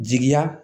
Jigiya